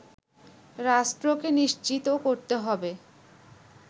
রাষ্ট্রকে নিশ্চিত করতে হবে